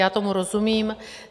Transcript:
Já tomu rozumím.